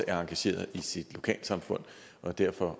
er engageret i sit lokalsamfund og derfor